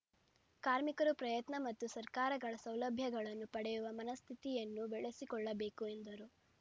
ಕಾರ್ಮಿಕರ ಪ್ರಯತ್ನ ಮತ್ತು ಸರ್ಕಾರಗಳ ಸೌಲಭ್ಯಗಳನ್ನು ಪಡೆಯುವ ಮನಸ್ಥಿತಿಯನ್ನು ಬೆಳೆಸಿಕೊಳ್ಳಬೇಕು ಎಂದರು